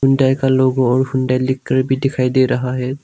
India का logo और सुंदर लिखकर भी दिखाई दे रहा है।